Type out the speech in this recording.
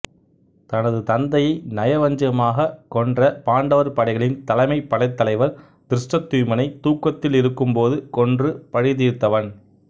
தனது தந்தையை நயவஞ்சகமாக கொன்ற பாண்டவர் படைகளின் தலைமைப்படைத்தலைவர் திருஷ்டத்யும்னனை தூக்கத்தில் இருக்கும்போது கொன்று பழி தீர்த்தவன்